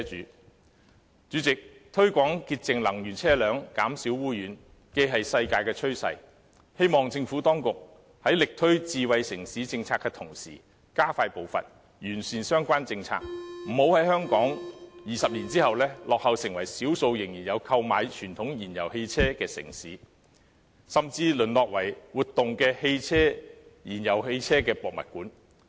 代理主席，推廣潔淨能源車輛，減少污染是世界的趨勢，希望政府當局在力推智慧城市政策的同時加快步伐，完善相關政策，不要令香港在20年後落後成為少數仍然有購買傳統燃油汽車的城市，甚至淪落為活動的燃油汽車博物館。